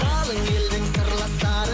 қалың елдің сырластары